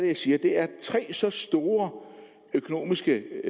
jeg siger at det er tre så store økonomiske